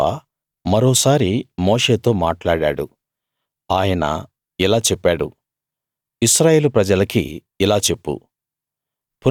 యెహోవా మరోసారి మోషేతో మాట్లాడాడు ఆయన ఇలా చెప్పాడు ఇశ్రాయేలు ప్రజలకి ఇలా చెప్పు